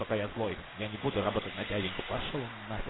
пока я злой я не буду работать на дяденьку пошёл он на хер